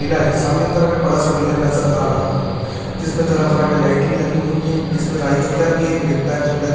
मेला है सामने की तरफ एक बड़ा सा मेला नजर आ रहा है जिस मे तरह तरह के लाईटिंग लगी हुई है इस में राई झूला भी है ब्रेक डांस झूला भी --